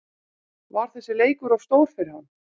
Var þessi leikur of stór fyrir hann?